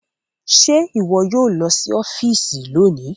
Ṣe iwọ yoo lọ si ọfiisi loni